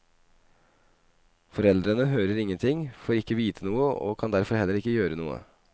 Foreldrene hører ingenting, får ikke vite noe, og kan derfor heller ikke gjøre noe.